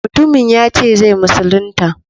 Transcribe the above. Mutumin yace zai musulunta.